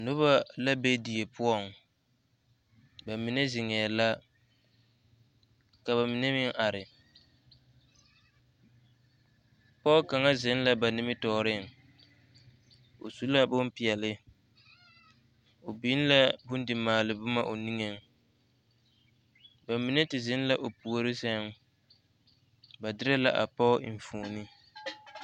Noba la be die poɔŋ, bamine zeŋɛɛ la ka bamine meŋ are pɔge kaŋa zeŋ la ba nimitɔɔreŋ o su la bompeɛle o biŋ la bondimaale boma o niŋeŋ bamine te zeŋ la o puori seŋ ba derɛ la a pɔge enfuoni.